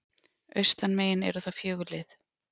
Austanmegin eru það fjögur lið